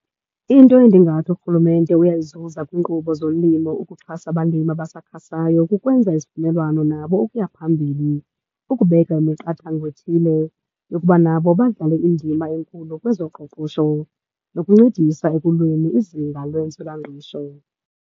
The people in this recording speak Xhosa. Into endingathi urhulumente uyayizuza kwinkqubo zolimo ukuxhasa abalimi abasakhasayo kukwenza izivumelwano nabo ukuya phambili, kukubeka imiqathango ethile yokuba nabo badlale indima enkulu kwezoqoqosho nokuncedisa ekulweni izinga lwentswelangqesho.